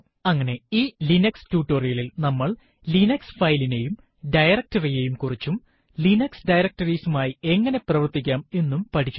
അങ്ങനെ ഈ ലിനക്സ് ടുടോരിയലിൽ നമ്മൾ ലിനക്സ് ഫയലിനെയും directory യെയും കുറിച്ചും ലിനക്സ് ഡയറക്ടറീസ് മായി എങ്ങനെ പ്രവര്ത്തിക്കാം എന്നും പഠിച്ചു